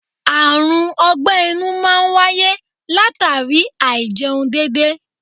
Àrùn ogbe-inú máa ń wáyé latara Áì-jẹun dédé.